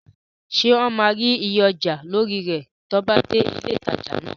Ṣé wọn máa rí iye ọjà lórí rẹ̀ tí wọ́n bá dé ilé ìtajà náà?